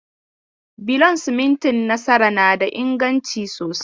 Bulon simintin Nasara na da inganci sosai.